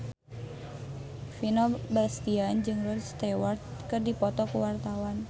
Vino Bastian jeung Rod Stewart keur dipoto ku wartawan